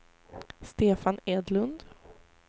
Stefan Edlund